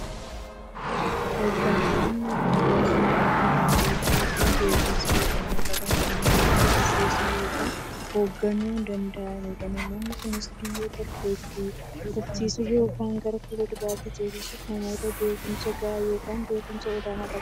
Hooggantoonni biyyaa namoota daanteettiifi beekumsa olaanaa qaban, kanneen biyya gaggeessuu yookiin hoogganuu danda'anidha. Namoonni kunis, biyya tokko itti fufsiisuuf yookiin gara fuulduraatti ceesisuuf, namoota beekumsa gahaa yookiin beekumsa olaanaa qabanidha.